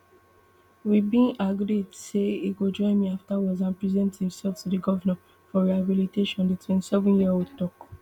we bin agreed say e go join me afterwards and present imsef to di govnor for rehabilitation di twenty-sevenyearold tok